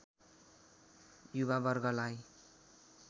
युवा वर्गलाई